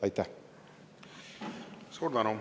Suur tänu!